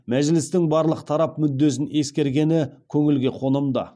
мәжілістің барлық тарап мүддесін ескергені көңілге қонымды